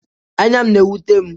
Anya m na-ewute m.